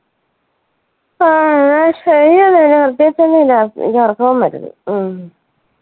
ആ എന്ന ശരി എന്ന ഇനി പ്രേത്യേകിച്ച് ഒന്നും ഇല്ല. എനിക്ക് ഉറക്കോം വരുന്ന്. ഉം